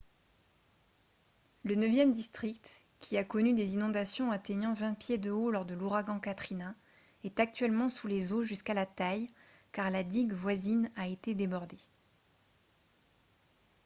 le neuvième district qui a connu des inondations atteignant 20 pieds de haut lors de l'ouragan katrina est actuellement sous les eaux jusqu'à la taille car la digue voisine a été débordée